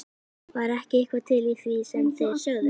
Var ekki eitthvað til í því sem þeir sögðu?